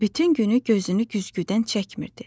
Bütün günü gözünü güzgüdən çəkmirdi.